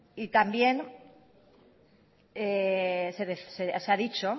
y también se ha dicho